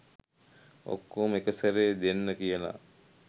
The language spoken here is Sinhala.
ඔක්කොම එක සැරේ දෙන්න කියලා